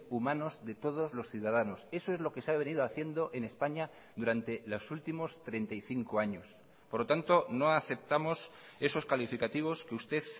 humanos de todos los ciudadanos eso es lo que se ha venido haciendo en españa durante los últimos treinta y cinco años por lo tanto no aceptamos esos calificativos que usted